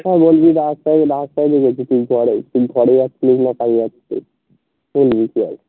হ্যাঁ বলবি রাস্তায় রাস্তায় দেখে চিনতে পেরেছি